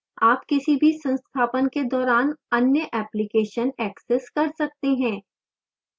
आप किसी भी संस्थापन के दौरान any applications access कर सकते हैं